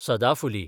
सदाफुली